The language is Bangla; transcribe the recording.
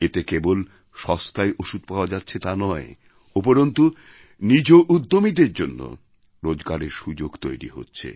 এতে কেবল সস্তায় ওষুধ পাওয়া যাচ্ছে তা নয় উপরন্তু নিজউদ্যমীদের জন্য রোজগারের সুযোগ তৈরি হচ্ছে